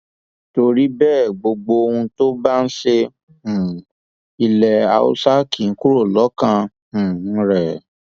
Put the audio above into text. torí bẹẹ gbogbo ohun tó bá ń ṣe um ilẹ haúsá kì í kúrò lọkàn um rẹ